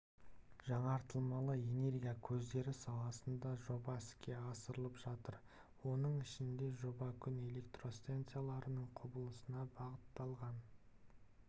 жаңартылмалы энергия көздері саласында жоба іске асырылып жатыр оның ішінде жоба күн электростанцияларының құрылысына бағытталған